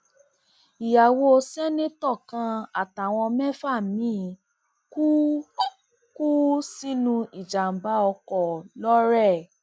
ìyàwó ṣèǹtẹtò kan àtàwọn mẹfà miín kú kú sínú ìjàmbá ọkọ lọrẹ